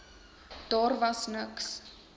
daar was niks